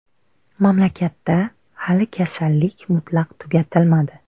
Mamlakatda hali kasallik mutlaq tugatilmadi.